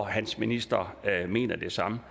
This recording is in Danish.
hans minister mener det samme